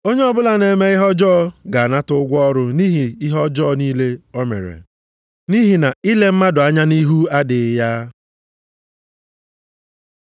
Onye ọbụla na-eme ihe ọjọọ ga-anata ụgwọ ọrụ nʼihi ihe ọjọọ niile o mere. Nʼihi na ile mmadụ anya nʼihu adịghị ya.